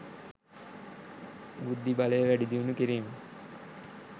බුද්ධිබලය වැඩි දියුණු කිරීම,